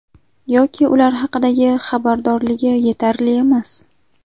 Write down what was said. Yoki ular haqidagi xabardorligi yetarli emas.